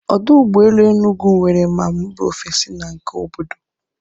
Ọdụ ụgbọ elu Enugwu nwere ma mba ofesi na nke obodo